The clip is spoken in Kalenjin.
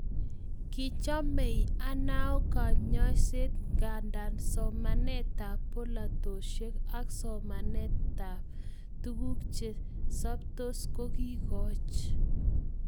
Kichomei Anao konyoiset nganda somanetab polatosiek ak somanetab tuguk che soptos kokiikoch